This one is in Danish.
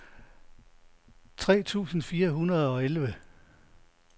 tre tusind fire hundrede og elleve